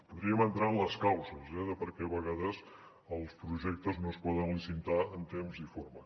podríem entrar en les causes eh en per què a vegades els projectes no es poden licitar en temps i forma